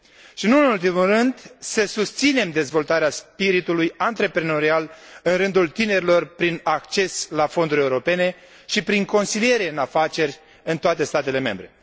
și, nu în ultimul rând, să susținem dezvoltarea spiritului antreprenorial în rândul tinerilor prin acces la fonduri europene și prin consiliere în afaceri în toate statele membre.